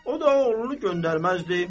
O da oğlunu göndərməzdi.